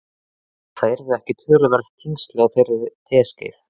Ætli það yrðu ekki töluverð þyngsli á þeirri teskeið.